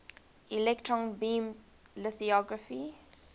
electron beam lithography